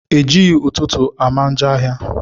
Ejighi ụtụtụ ama njọ áhiá.